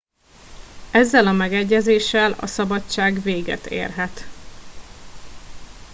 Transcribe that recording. ezzel a megegyezéssel a szabadság véget érhet